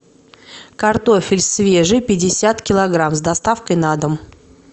картофель свежий пятьдесят килограмм с доставкой на дом